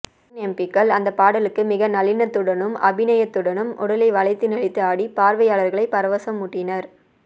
பெண் எம்பிக்கள் அந்த பாடலுக்கு மிக நளினத்துடனும் அபிநயத்துடனும் உடலை வளைத்து நெளித்து ஆடி பார்வையாளர்களை பரவசமூட்டினர்